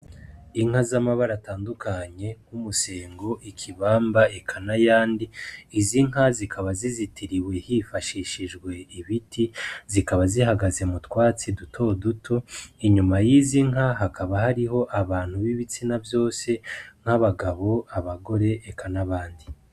Inka z'amabara atundukanye nk'umuzingo, ikibamba eka n'ayandi, izi nka zikaba zizitiriwe hifashishijwe ibiti, zikaba zihagaze mu twatsi dutoduto. Inyuma y'izi nka hakaba hariho abantu b'ibitsina vyose nk'abagabo, abagore eka n'abandi.